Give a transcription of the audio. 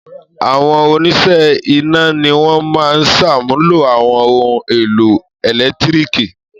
Àwọn oníṣẹ́ iná ni wọ́n máa ṣàmúlò àwọn ohun-èlò ẹ̀lẹ́tíríkì.